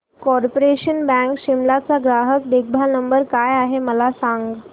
corporation bank Shimla चा ग्राहक देखभाल नंबर काय आहे मला सांग